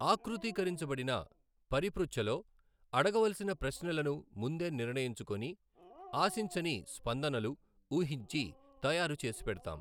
ఆకృతీకరించబడిన పరిపృచ్ఛలో అడగవలసిన ప్రశ్నలను ముందే నిర్ణయించుకొని ఆశించని స్పందనలు ఊహించి తయారు చేసిపెడ్తాం.